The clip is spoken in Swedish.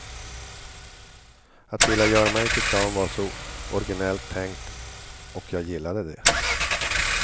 Att vilja göra mig till clown var så originellt tänkt och jag gillade det.